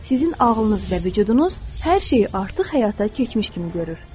Sizin ağlınız və vücudunuz hər şeyi artıq həyata keçmiş kimi görür.